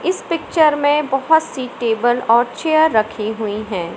इस पिक्चर में बहोत सी टेबल और चेयर रखी हुई हैं।